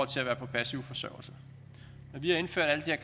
til at være på passiv forsørgelse når vi har indført alle de